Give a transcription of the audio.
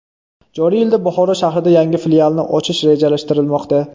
Joriy yilda Buxoro shahrida yangi filialni ochish rejalashtirilmoqda.